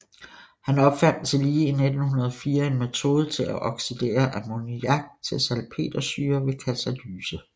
Han opfandt tillige i 1904 en metode til at oxidere ammoniak til salpetersyre ved katalyse